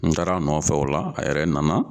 N taar'a nɔfɛ o la a yɛrɛ nana